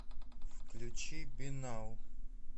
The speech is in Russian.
включи биннау